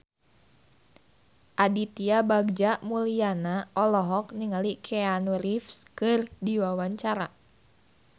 Aditya Bagja Mulyana olohok ningali Keanu Reeves keur diwawancara